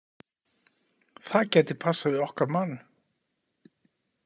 Það gæti passað við okkar mann.